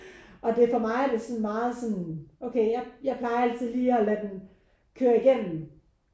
Og det for mig er det sådan meget sådan okay jeg jeg plejer altid lige at lade den køre igennem